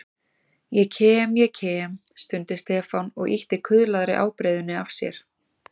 Ég kem, ég kem stundi Stefán og ýtti kuðlaðri ábreiðunni af sér.